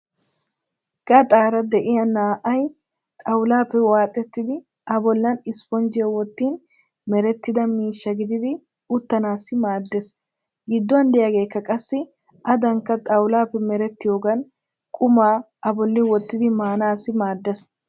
Gaxaara de'iya naa"ay xawullaappe waaxettidi a bollan isiponjjiya wottin merettida miishsha gididi uttanaassi maaddeees. Gidduwan de'iyaage qassi adankka xawullaappe merettiyoogan qumaa a bolli wottidi maanaassi maaddees.